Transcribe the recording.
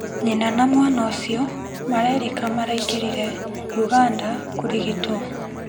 Nyina na mwana ũcio marerĩka maraingĩrire Uganda kũrigitwo.